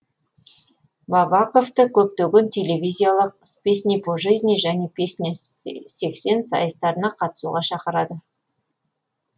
бабаковты көптеген телевизиялық с песней по жизни және песня сексен сайыстарына қатысуға шақырады